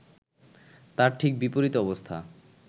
তার ঠিক বিপরীত অবস্থা